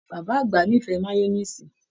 Bàbá àgbà n'ifẹ mayọniisi.